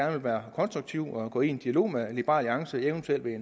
vil være konstruktiv og gå ind i en dialog med liberal alliance eventuelt ved at